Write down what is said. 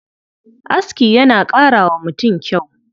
Aski yana ƙara wa mutum kyau.